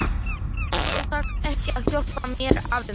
Þú þarft ekki að hjálpa mér, afi minn.